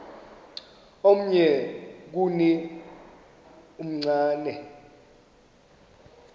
omnye kuni uchane